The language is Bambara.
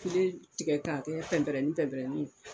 Kelen tigɛ k'a pɛnpɛrɛnin-pɛnpɛrɛnin ye